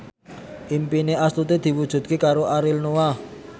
impine Astuti diwujudke karo Ariel Noah